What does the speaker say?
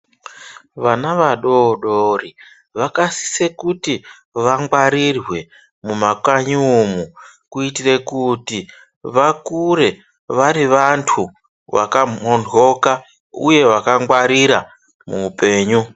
Vana vadodori vakasiso kuti vangwarirwe mumakanyi umu kuitire kuti vakure vari vantu vakamhoryoka uye vakangwarira muhupenyu.